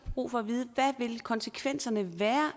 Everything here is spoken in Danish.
brug for at vide hvad vil konsekvenserne